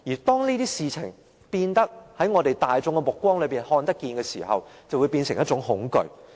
當這些事情大眾均有目共睹時，便會變成一種恐懼。